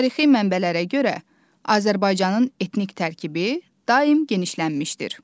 Tarixi mənbələrə görə Azərbaycanın etnik tərkibi daim genişlənmişdir.